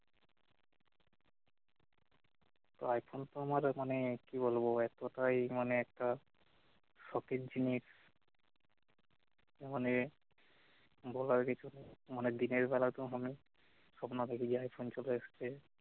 তো এখন তো আমার মানে কি বলবো এক কথাই মানে একটা সখের জিনিস মানে বলার কিছু মানে দিনের বেলাতেও মানে সপ্ন দেখি যে আইফোন চলে এসছে